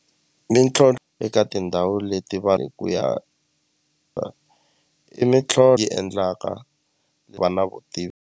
eka tindhawu leti vanhu hi ku ya i yi endlaka ku va na vutivi.